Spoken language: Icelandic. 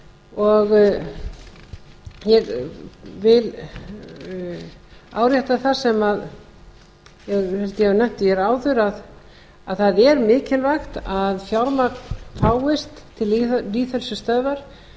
og ég vil árétta það sem ég held að ég hafi nefnt hér áður að það er mikilvægt að fjármagn fáist til lýðheilsustöðvar